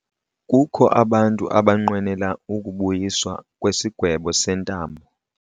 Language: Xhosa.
Kukho abantu abanqwenela ukubuyiswa kwesigwebo sentambo.